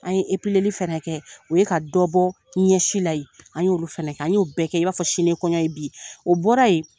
An ye fana kɛ o ye ka dɔ bɔ ɲɛsi la ye an y'olu fana kɛ an y'o bɛɛ kɛ i b'a fɔ sini kɔɲɔ ye bi o bɔra yen